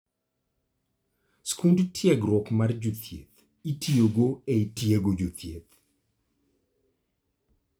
Skud tiegruok mar jothieth itiyogo e tiego jothieth.